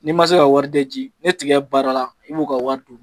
N'i ma se ka wari bɛ ji ne tiga baara la , i b'u ka wari di.